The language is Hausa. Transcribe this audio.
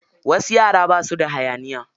Wasu yara basu da hayaniya.